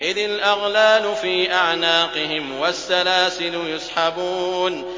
إِذِ الْأَغْلَالُ فِي أَعْنَاقِهِمْ وَالسَّلَاسِلُ يُسْحَبُونَ